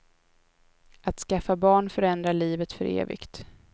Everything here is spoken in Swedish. Att skaffa barn förändrar livet för evigt.